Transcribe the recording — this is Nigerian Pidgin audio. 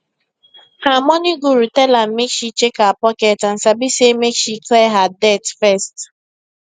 her money guru tell am make she check her pocket and sabi say make she clear her debt first